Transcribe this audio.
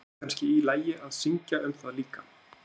Er kannski í lagi að syngja um það líka?